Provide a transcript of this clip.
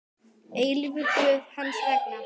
eilífur Guð hans vegna.